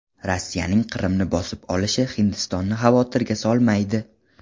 Rossiyaning Qrimni bosib olishi Hindistonni xavotirga solmaydi.